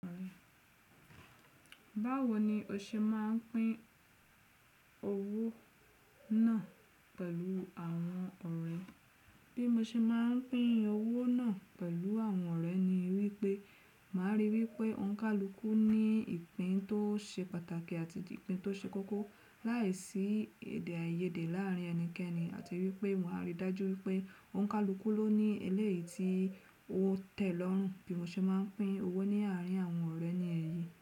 Báwo ni o ṣe máa ń pín owó náà pẹ̀lú àwọn ọ̀rẹ́? Bí mo ṣe máa ń pín owó náà pẹ̀lú àwọn ọ̀rẹ́ ni wípé, màá rí wípé ònkàlúkú ní ìpín tó ṣe pàtàkì àti ìpín tó ṣe kókó láìsí èdè-áiyedé láàárín ẹnikẹ́ni àti wípé mòa rí dájú wípé ònkàlúkú ló ní eléyìí tí ó tẹ̀ lọ́rùn. Bí mo ṣe máa ń pín owó ní àárín àwọn ọ̀rẹ́ ni èyí.